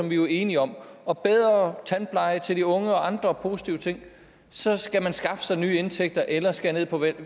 vi jo er enige om og bedre tandpleje til de unge og andre positive ting så skal man skaffe sig nye indtægter eller skære ned på